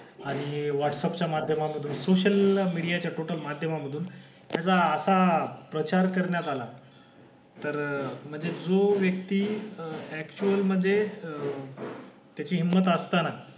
आणि व्हॉट्सपच्या माध्यमामधे सोसिअल मीडिया च्या टोटल माध्यमामधून त्याचा असा प्रचार करण्यात आला तर म्हणजे जो व्यक्ती अक्टऊल मधे अह त्याची हिंमत असताना,